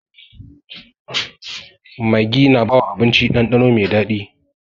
Maggi na bawa abinci dandano mai daɗi.